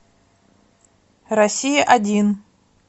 россия один